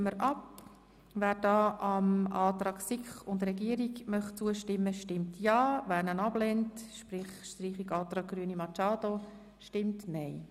Wer hier dem Antrag SiK und Regierung zustimmt, stimmt ja, wer ihn ablehnt bzw. den Antrag auf Streichung annimmt, stimmt nein.